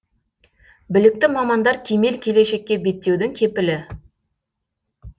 білікті мамандар кемел келешекке беттеудің кепілі